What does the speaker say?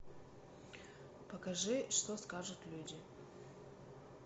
покажи что скажут люди